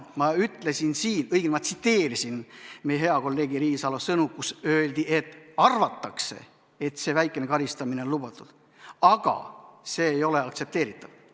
Ma ütlesin siin, õigemini ma tsiteerisin meie hea kolleegi Riisalo sõnu, kes ütles, et arvatakse, et väikene karistamine on lubatud, aga see ei ole aktsepteeritav.